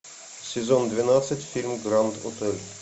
сезон двенадцать фильм гранд отель